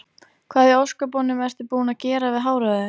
Hvað í ósköpunum ertu búinn að gera við hárið á þér?